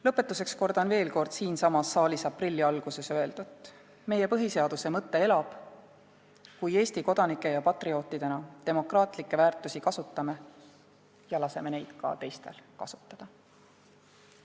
Lõpetuseks kordan veel siinsamas saalis aprilli alguses öeldut: meie põhiseaduse mõte elab, kui Eesti kodanike ja patriootidena demokraatlikke väärtusi kasutame ja laseme neid ka teistel kasutada.